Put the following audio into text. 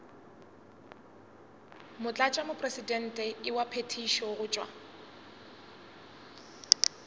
motlatšamopresidente wa phethišo go tšwa